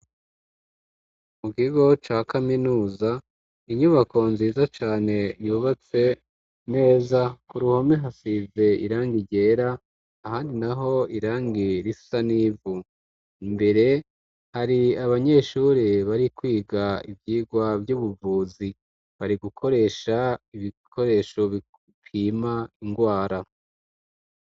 Mu kigo ca kaminuza; inyubako nziza cane yubatse neza. Ku ruhome hasize irangi ryera ahandi naho irangi risa n'ivu. Imbere hari abanyeshuri bari kwiga ivyigwa vy'ubuvuzi bari gukoresha ibikoresho bipima indwara.